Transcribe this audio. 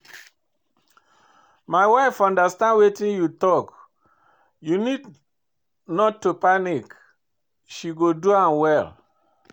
My wife understand wetin you talk, you no need to panic she go do am well